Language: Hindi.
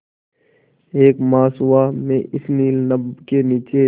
एक मास हुआ मैं इस नील नभ के नीचे